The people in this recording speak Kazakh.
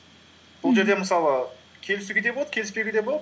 бұл жерде мысалы келісуге де болады келіспеуге де болады